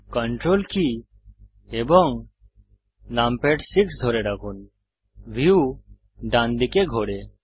ctrl কী এবং numpad 6 ধরে রাখুন ভিউ ডান দিকে ঘোরে